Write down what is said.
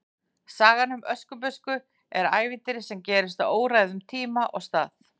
Sagan um Öskubusku er ævintýri sem gerist á óræðum tíma og stað.